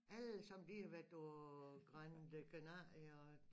Allesammen de har været på grande Canaria og